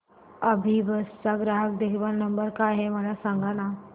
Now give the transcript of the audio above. अभिबस चा ग्राहक देखभाल नंबर काय आहे मला सांगाना